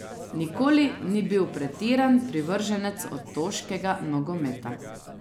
Nikoli ni bil pretiran privrženec otoškega nogometa.